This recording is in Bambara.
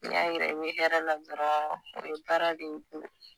N'iy'a yira i be hɛrɛ la dɔrɔn o ye baara de y'i bolo